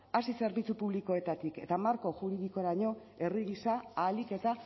hasi zerbitzu publikoetatik eta marko juridikoraino herri gisa ahalik eta